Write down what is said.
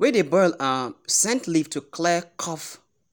we dey boil um scent leaf to clear cough